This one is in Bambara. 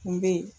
Kun bɛ yen